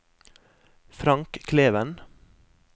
Frank Kleven